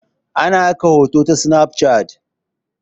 Ana aika saƙon hoto ta sinaf cat.